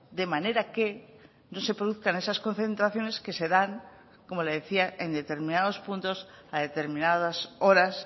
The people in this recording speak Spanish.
de manera que no se produzcan esas concentraciones que se dan como le decía en determinados puntos a determinadas horas